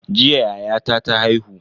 Jiya yayata ta haihu.